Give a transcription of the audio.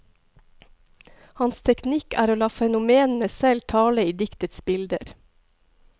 Hans teknikk er å la fenomenene selv tale i diktetsbilder.